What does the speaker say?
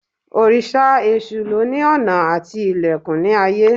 Òrìṣà Èsù lóni ọ̀nà àti ilẹ̀kùn ní ayé